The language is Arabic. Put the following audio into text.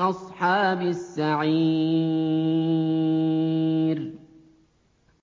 أَصْحَابِ السَّعِيرِ